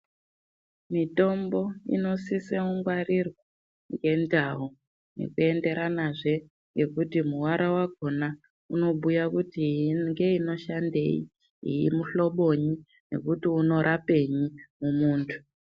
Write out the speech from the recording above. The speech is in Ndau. Mitombo inosisa kungwarirwa ngendau zvichienderanazve nekuti muara wakhona unobhuya kuti ingeinoshandei, muhlobonyi nekuti unorapei mumuntu.